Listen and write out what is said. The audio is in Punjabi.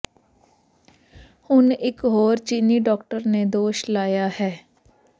ਹੁਣ ਇਕ ਹੋਰ ਚੀਨੀ ਡਾਕਟਰ ਨੇ ਦੋਸ਼ ਲਾਇਆ ਹੈ